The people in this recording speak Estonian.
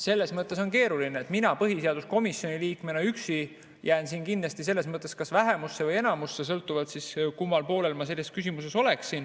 Selles mõttes on keeruline, et mina põhiseaduskomisjoni liikmena jään üksi siin kindlasti kas vähemusse või enamusse, sõltuvalt kummal poolel ma selles küsimuses oleksin.